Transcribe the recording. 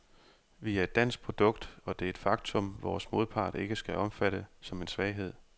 Vi er et dansk produkt, og det er et faktum, vores modpart ikke skal opfatte som en svaghed.